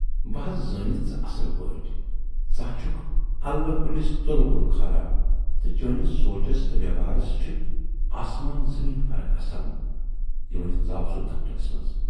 بہٕ ہا زانتھ ژٕ اصل پٲٹھۍ، ژٕ ہا چھُکھ الہٕ کُلِس تُلہٕ کُل کھارن تہٕ چٲنِس سونچس تہٕ وٮ۪وٕہارس چھِ اَسمان زمیٖن فرٕق آسان" یہِ ؤنِتھ ژاو سُہ دفترس منز۔